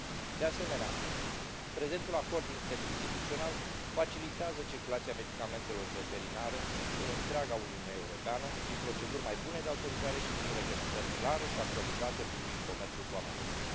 De asemenea, prezentul acord interinstituțional facilitează circulația medicamentelor veterinare în întreaga Uniune Europeană prin proceduri mai bune de autorizare și prin reglementări clare și actualizate privind comerțul cu amănuntul.